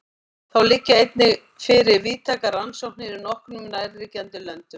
Þá liggja einnig fyrir víðtækar rannsóknir í nokkrum nærliggjandi löndum.